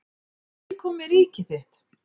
Til komi ríki þitt.